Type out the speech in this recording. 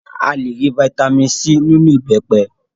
A le rí fataímìn C nínú ìbẹ́pẹ.